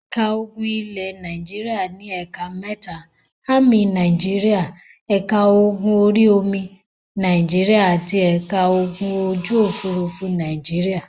Ẹ̀ka ogun ilẹ̀ Nàìjíríà ní ẹ̀ka mẹ́ta; Ámì Nàìjíríà, ẹ̀ka ogun orí-omi Nàìjíríà àti ẹ̀ka ogun ojú-òfurufú Nàìjíríà.